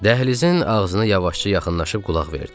Dəhlizin ağzına yavaşca yaxınlaşıb qulaq verdik.